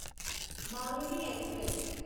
Maveli express